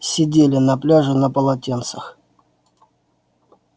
сидели на пляже на полотенцах